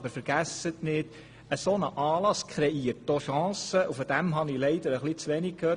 Aber vergessen Sie nicht, ein solcher Anlass kreiert auch Chancen, und davon habe ich leider etwas zu wenig gehört.